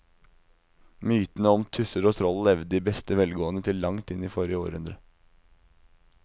Mytene om tusser og troll levde i beste velgående til langt inn i forrige århundre.